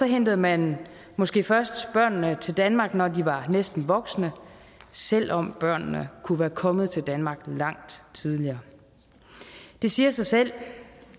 hentede man måske først børnene til danmark når de var næsten voksne selv om børnene kunne være kommet til danmark langt tidligere det siger sig selv